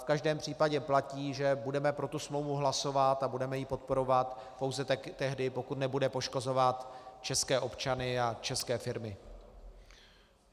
V každém případě platí, že budeme pro tu smlouvu hlasovat a budeme ji podporovat pouze tehdy, pokud nebude poškozovat české občany a české firmy.